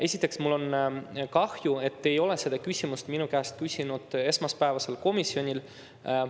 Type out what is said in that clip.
Esiteks, mul on kahju, et te ei küsinud seda küsimust minu käest esmaspäeval komisjonis.